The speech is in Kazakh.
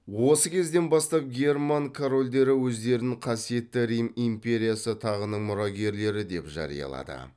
осы кезден бастап герман корольдері өздерін қасиетті рим империясы тағының мұрагерлері деп жариялады